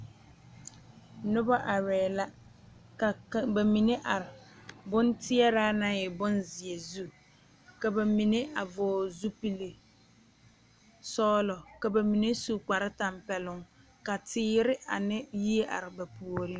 Noba arɛɛ la ka ka ba mine are bonteɛraa naŋ e bonzeɛ zu ka ba mine vɔgle zupili sɔglɔ ka ba mine su kparetampɛloŋ ka teere ane yie are ba puoriŋ.